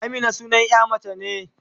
Amina sunan ƴa mace ne.